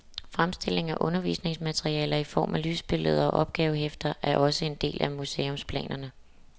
Fremstilling af undervisningsmaterialer i form af lysbilledserier og opgavehæfter er også en del af museumsplanerne.